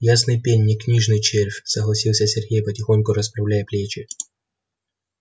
ясный пень не книжный червь согласился сергей потихоньку расправляя плечи